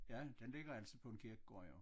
Ja den ligger altid på en kirkegård jo